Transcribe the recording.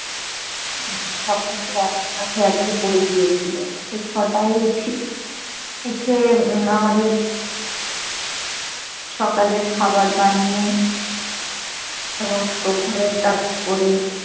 উম সবকিছু একসাথে আজকে পড়ে গিয়েছিলো। তো ছ'টায় উঠি, উঠে উম আমাদের সকালের খাবার বানিয়ে সমস্ত ঘরের কাজ করে